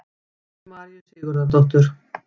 eftir heiðu maríu sigurðardóttur